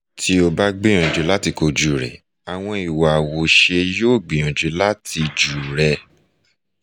ti o ba gbiyanju lati koju rẹ awọn iwa awoṣe yoo gbiyanju lati ju rẹ